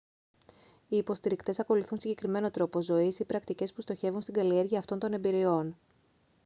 οι υποστηρικτές ακολουθούν συγκεκριμένο τρόπο ζωής ή πρακτικές που στοχεύουν στην καλλιέργεια αυτών των εμπειριών